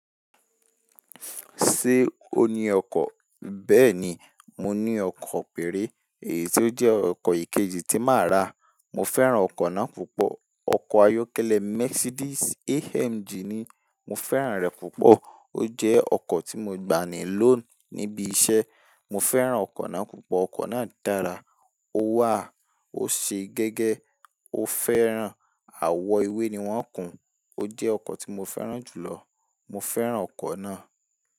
Ṣé o ní ọkọ̀? Bẹ́ẹ̀ni, mo ní ọkọ̀ péré èyí ti ó jẹ́ ọkọ̀ ìkejì tí máa rà. Mo fẹ́ràn ọkọ̀ náà púpọ̀. Ọkọ̀ ayọ́kẹ́lẹ́ Mercedes AMG ni. Mo fẹ́ràn rẹ̀ púpọ̀. Ó jẹ́ ọkọ̀ tí mo gbà ní loan níbi iṣẹ́. Mo fẹ́ràn ọkọ̀ náà púpọ̀. Ọkọ̀ náà dára, ó wà, ó ṣe gẹ́gẹ́, ó fẹ́ràn, àwọ̀ ewé ni wọ́n kùn. Ó jẹ́ ọkọ̀ tí mo fẹ́ràn jù lọ. Mo fẹ́ràn ọkọ̀ náà.